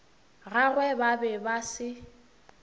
gagwe ba be ba se